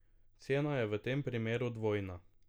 Cena je v tem primeru dvojna.